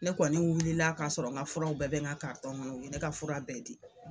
Ne kɔni wulila k'a sɔrɔ ŋa furaw bɛɛ bɛ ŋa ŋɔnɔ, u ye ne ka fura bɛɛ di.